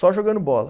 Só jogando bola.